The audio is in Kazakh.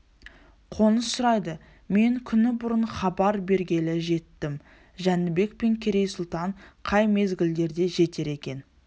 қоныс сұрайды мен күні бұрын хабар бергелі жеттім жәнібек пен керей сұлтан қай мезгілдерде жетер екен